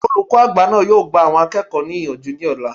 Olùkọ́ àgbà náà yóò gba àwọn akẹ́kọ̀ọ́ náà níyànjú ní ọ̀la